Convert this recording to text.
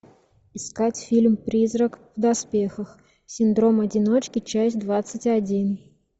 искать фильм призрак в доспехах синдром одиночки часть двадцать один